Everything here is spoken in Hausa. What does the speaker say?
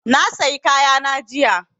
Na sayi kaya na jiya